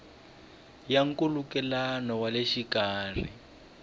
ya nkhulukelano wa le xikarhi